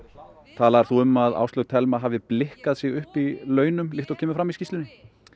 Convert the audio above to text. talaðir þú um að Áslaug Thelma hafi blikkað sig upp í launum líkt og kemur fram í skýrslunni